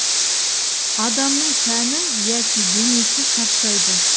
адамның тәні яки денесі шаршайды